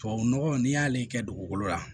Tubabu nɔgɔ n'i y'ale kɛ dugukolo la